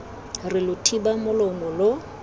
re lo thiba molomo lo